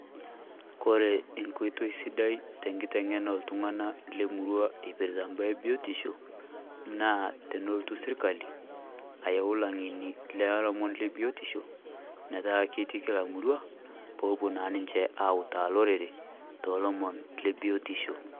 Ore enkoitoi sidai te enkiteng'ena oltung'anak le emurua ipirta imbaa ebiotisho naa tenelotu sirkali ayau ilang'eni le biotisho metaa ketii [cs[kila emurua peepuo naa ninche aautaa olorere toolomon lebiotisho.